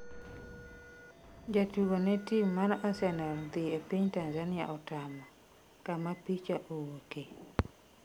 jatugo ne tim mar Arsenal dhi piny Tanzania otamo, kama picha owuoke